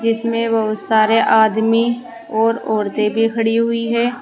इसमें बहुत सारे आदमी और औरतें भी खड़ी हुई हैं।